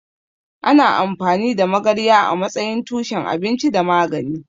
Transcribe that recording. Ana amfani da magarya a matsayin tushen abinci da magani.